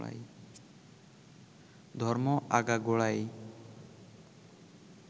ধর্ম আগাগোড়াই